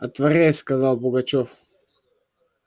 отворяй сказал пугачёв